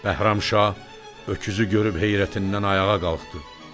Bəhramşah öküzü görüb heyrətindən ayağa qalxdı.